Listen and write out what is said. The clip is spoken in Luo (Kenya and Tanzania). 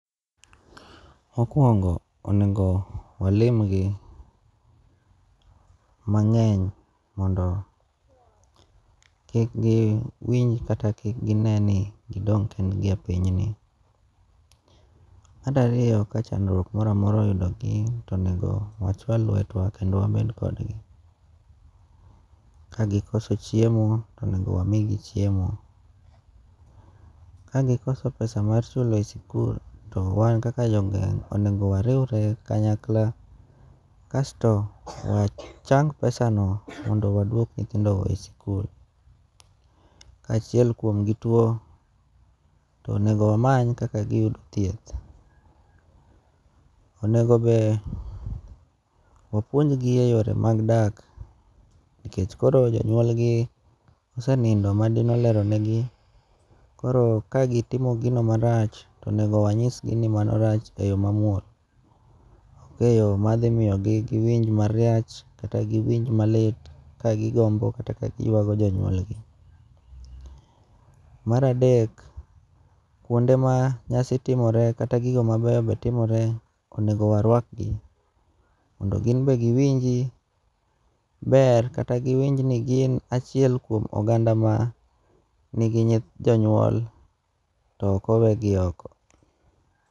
Mokwongo onego walimgi mangény, mondo kikgi winj, kata kik gine ni gidong' kendgi e pinyni. Mar ariyo ka chandruok moro amora oyudo gi, onego wachwal lwetwa kendo wabed kodgi. Kagikoso chiemo, onego wami gi chiemo. Ka gikoso pesa mar solo e sikul, to wan kaka jogweng' onego wariwre kanyakla, kasto wachang pesano mondo waduok nyithindogo e sikul. Ka achiel kuomgi tuo, to onego wamany, kaka gi yudo thieth. Onego be wapuonj gi e yore mag dak, nikech koro jonyuolgi osenindo ma dine oleronegi, koro ka gitimo gino marach, to onego wanyisgi ni mano rach e yo mamuol, ok e yo madhimiyo gi giwinj marach, kata giwinj malit, kagiywago kata gigombo jonyuol gi. Mar adek, kuonde ma nyasi timore, kata gigo ma beyo beyo timore, onego warwakgi, mondo gin be giwinjie ber, kata giwinjni gin achiel kuom oganda ma nigi jonyuol, to ok owe gi oko.